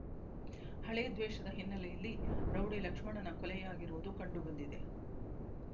ಹಳೆದ್ವೇಷದ ಹಿನ್ನೆಲೆಯಲ್ಲಿ ರೌಡಿ ಲಕ್ಷ್ಮಣನ ಕೊಲೆಯಾಗಿರುವುದು ಕಂಡುಬಂದಿದೆ